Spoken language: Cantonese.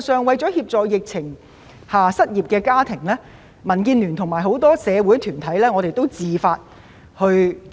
為了協助在疫情下失業的家庭，民建聯及很多社會團體也自發做了一些工作。